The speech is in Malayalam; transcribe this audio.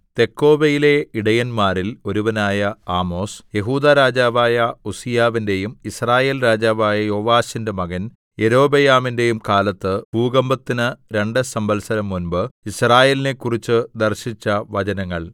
തെക്കോവയിലെ ഇടയന്മാരിൽ ഒരുവനായ ആമോസ് യെഹൂദാ രാജാവായ ഉസ്സീയാവിന്റെയും യിസ്രായേൽ രാജാവായ യോവാശിന്റെ മകൻ യൊരോബെയാമിന്റെയും കാലത്ത് ഭൂകമ്പത്തിന് രണ്ട് സംവത്സരം മുമ്പ് യിസ്രായേലിനെക്കുറിച്ച് ദർശിച്ച വചനങ്ങൾ